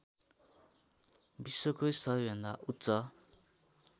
विश्वकै सबैभन्दा उच्च